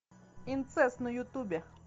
инцест на ютубе